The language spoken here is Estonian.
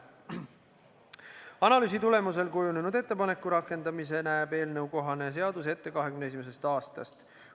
Analüüsi tulemusel kujunenud ettepaneku rakendamise näeb eelnõukohane seadus ette 2021. aastast.